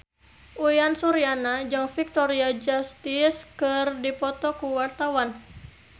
Uyan Suryana jeung Victoria Justice keur dipoto ku wartawan